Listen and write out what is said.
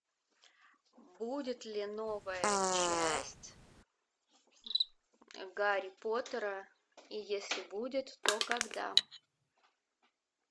будет ли новая часть гарри поттера и если будет то когда